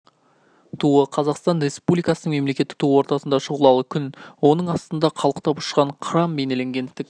туы қазақстан республикасының мемлекеттік туы ортасында шұғылалы күн оның астында қалықтап ұшқан қыран бейнеленген тік